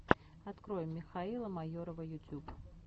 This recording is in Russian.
открой михаила майорова ютюб